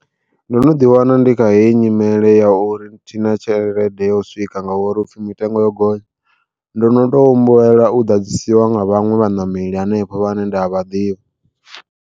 Ndo no ḓi wana ndi kha heyi nyimele ya uri thina tshelede ya u swika nga uri hupfhi mitengo yo gonya ndo no to humbela u ḓadzisiwa nga vhaṅwe vhaṋameli hanefho vhane nda a vha ḓivha.